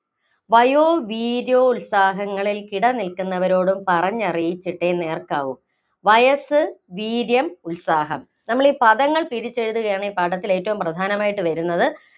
വയോവീര്യോത്സാഹങ്ങളില്‍ കിടനില്‍ക്കുന്നവരോട് പറഞ്ഞറിയിച്ചിട്ടേ നേര്‍ക്കാവൂ. വയസ്സ്, വീര്യം, ഉത്സാഹം നമ്മളീ പദങ്ങള്‍ പിരിച്ചെഴുതുകയാണെങ്കില്‍ ഈ പാഠത്തില്‍ ഏറ്റവും പ്രധാനമായിട്ട് വരുന്നത്